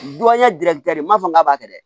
Duwayi giri ma fɔ k'a b'a kɛ